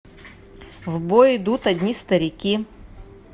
в бой идут одни старики